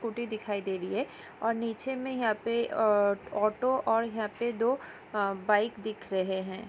दिखाई दे रही है और निचे मैं यहाँ पे अ ऑटो और यहाँ पे दो बाइक दिख रहे हैं।